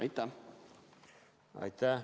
Aitäh!